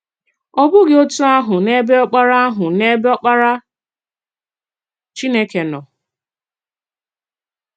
Ọ̀ bụghị otú ahụ n’ebe Ọkparà ahụ n’ebe Ọkparà Chínèkè nọ.